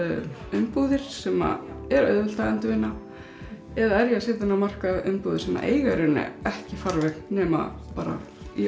umbúðir sem er auðvelt að endurvinna eða er ég að setja inn á markað umbúðir sem eiga í raun ekki farveg nema í